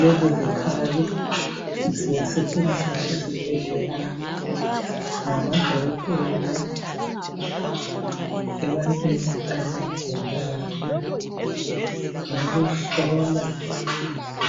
Lezizikhali ziyasetshenziswa ezibhedlela ngamadokotela. Ebantwini abagulayo. Kungabe kuhlola